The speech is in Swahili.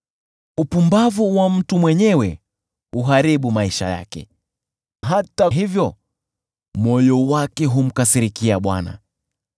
Upumbavu wa mtu mwenyewe huharibu maisha yake hata hivyo moyo wake humkasirikia Bwana .